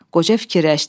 Qoca fikirləşdi.